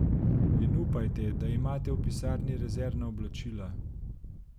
In upajte, da imate v pisarni rezervna oblačila.